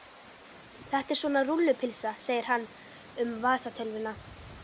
Þetta er svona rúllupylsa segir hann um vasatölvuna.